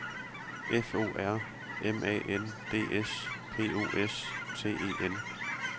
F O R M A N D S P O S T E N